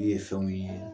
U ye fɛnw ye